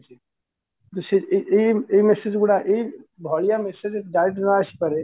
ଏଇ ଏଇ ଏଇ message ଗୁଡାକ ଏଇ ଭଳିଆ message direct ନ ଆସିପାରେ